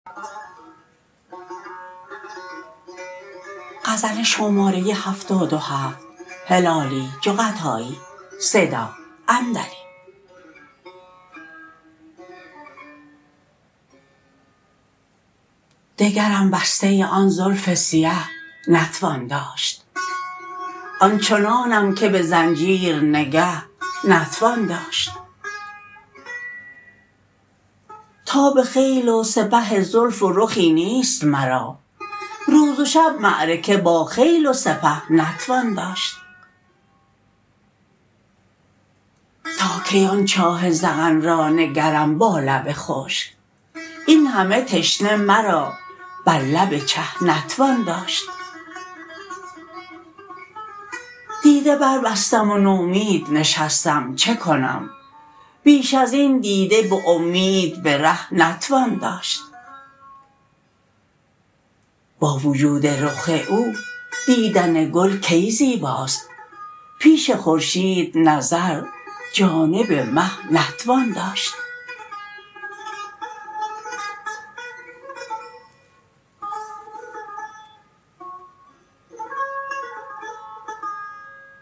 دگرم بسته آن زلف سیه نتوان داشت آن چنانم که بزنجیر نگه نتوان داشت تاب خیل و سپه زلف و رخی نیست مرا روز و شب معرکه با خیل و سپه نتوان داشت تا کی آن چاه ذقن را نگرم با لب خشک این همه تشنه مرا بر لب چه نتوان داشت دیده بر بستم و نومید نشستم چه کنم بیش ازین دیده بامید بره نتوان داشت با وجود رخ او دیدن گل کی زیباست پیش خورشید نظر جانب مه نتوان داشت